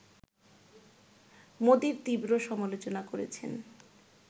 মোদির তীব্র সমালোচনা করেছেন